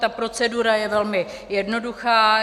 Ta procedura je velmi jednoduchá.